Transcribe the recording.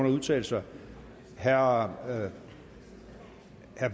udtale sig herre